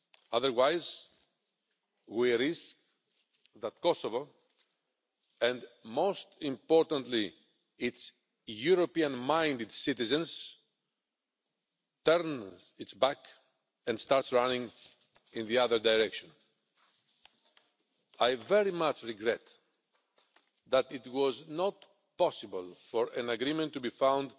otherwise, we risk Kosovo and, most importantly, its European minded citizens turning their backs and running in the other direction. I very much regret that it was not possible for an agreement to be found